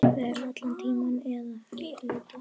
Vera allan tímann eða hluta.